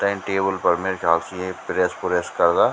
तैं टेबल फर मेरे ख्याल से यीं प्रेस पुरेस करदा।